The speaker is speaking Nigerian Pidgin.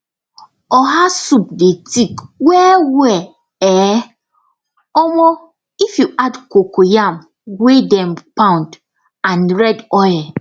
oha soup dey thick well well um um if you add cocoyam wey dem pound and red oil